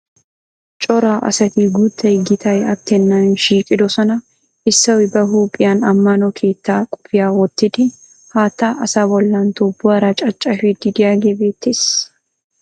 Cora asati guuttay gitay attennan shiiqidosona. Issoy ba huuphiyan ammano keettaa qophiya wottidi haattaa asaa bollan tuubbuwara caccafiiddi diyagee beettes.